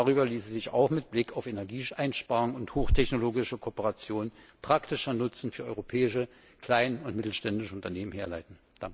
auf! Darüber ließe sich auch mit Blick auf Energieeinsparung und hochtechnologische Kooperation praktischer Nutzen für europäische kleine und mittelständische Unternehmen herleiten.